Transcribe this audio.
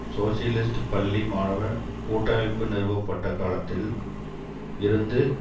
socialist பள்ளி மாணவ கூட்டமைப்பு நிறுவப்பட்ட காலத்தில் இருந்து